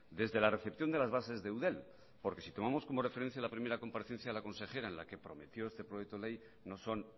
desde la recepción de las bases de eudel porque si tomamos como referencia la primera comparecencia a la consejera en la que prometió este proyecto ley no son